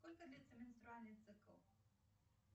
сколько длится менструальный цикл